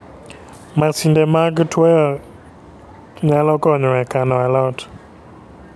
Masinde mag tuoyo nyalo konyo e kano alot